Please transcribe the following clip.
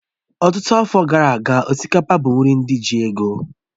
Ọtụtụ afọ gara aga, osikapa bụ nri ndị ji ego